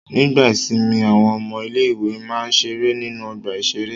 Nígbà ìsìnmi àwọn ọmọ ilé-ìwé máa ń ṣeré nínú ọgbà-ìṣeré.